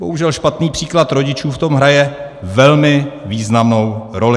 Bohužel špatný příklad rodičů v tom hraje velmi významnou roli.